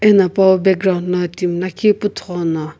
eno pawu background lo timi lakhi puthughono.